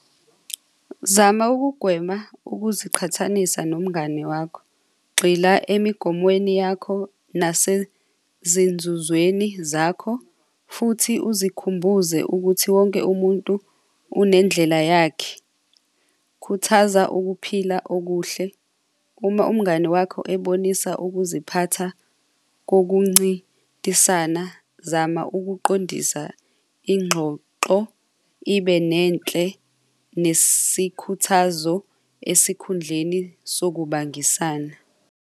Zama ukugwema ukuziqhathanisa nomngane wakho. Gxila emigomweni yakho nasezinzuzweni zakho futhi uzikhumbuze ukuthi wonke umuntu unendlela yakhe. Khuthaza ukuphila okuhle, uma umngane wakho ebonisa ukuziphatha kokuncintisana, zama ukuqondisa ingxoxo ibe nenhle nesikhuthazo esikhundleni sokubambisana.